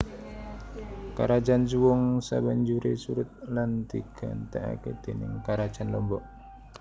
Karajan Suwung sabanjuré surut lan digantèkaké déning Karajan Lombok